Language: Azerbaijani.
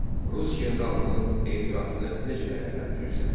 Rus generalının etirafını necə dəyərləndirirsən?